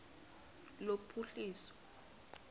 lophuhliso